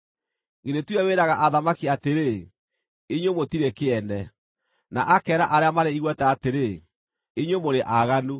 Githĩ ti we wĩraga athamaki atĩrĩ, ‘Inyuĩ mũtirĩ kĩene,’ na akeera arĩa marĩ igweta atĩrĩ, ‘Inyuĩ mũrĩ aaganu,’